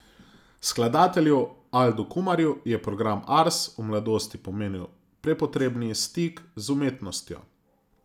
Skladatelju Aldu Kumarju je program Ars v mladosti pomenil prepotrebni stik z umetnostjo.